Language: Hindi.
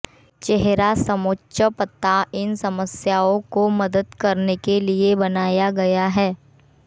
चेहरा समोच्च पता इन समस्याओं को मदद करने के लिए बनाया गया है